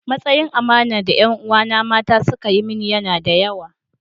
Matsayin amanar da ’yan uwana mata suka yi mini yana da yawa.